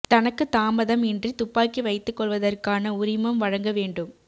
தனக்கு தாமதம் இன்றி துப்பாக்கி வைத்துக் கொள்வதற்கான உரிமம் வழங்கவேண்டும்